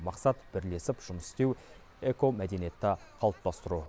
мақсат бірлесіп жұмыс істеу экомәдениетті қалыптастыру